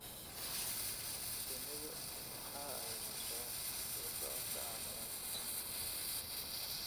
Shinnidu waxa ay martaa la socodka caafimaadka